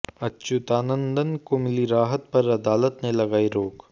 अच्युतानंदन को मिली राहत पर अदालत ने लगाई रोक